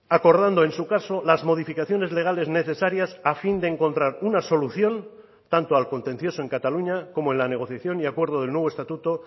acordando en su caso las modificaciones legales necesarias a fin de encontrar una solución tanto al contencioso en cataluña como en la negociación y acuerdo del nuevo estatuto